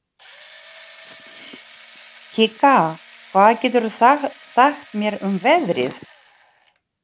Kikka, hvað geturðu sagt mér um veðrið?